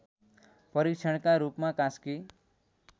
परीक्षणका रूपमा कास्की